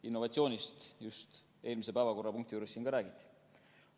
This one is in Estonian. Innovatsioonist just eelmise päevakorrapunkti juures siin ka räägiti.